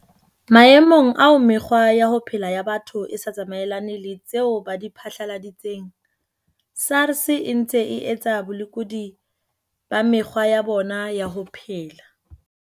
Maemong ao mekgwa ya ho phela ya batho e sa tsamaelane le tseo ba di phatlaladitseng, SARS e ntse e etsa bolekudi ba mekgwa ya bona ya ho phela.